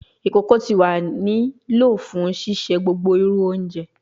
Ikoko ti wa ni lo fun sise gbogbo iru ounje